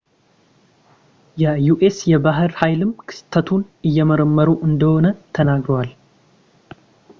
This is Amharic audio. የዩኤስ የባህር ኃይልም ክስተቱን እየመረመሩ እንደሆነ ተናግረዋል